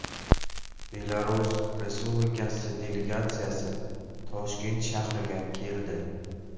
Belarus Respublikasi delegatsiyasi Toshkent shahriga keldi.